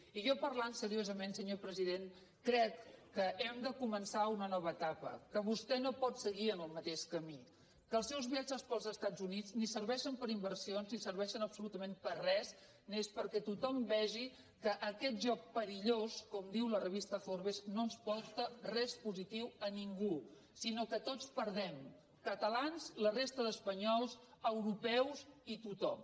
i jo parlant seriosament senyor president crec que hem de començar una nova etapa que vostè no pot seguir en el mateix camí que els seus viatges pels estats units ni serveixen per a inversions ni serveixen absolutament per a res només perquè tothom vegi que aquest joc perillós com diu la revista forbesporta res positiu a ningú sinó que tots hi perdem catalans la resta d’espanyols europeus i tothom